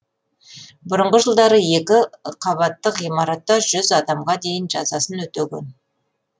бұрынғы жылдары екі қабатты ғимаратта жүз адамға дейін жазасын өтеген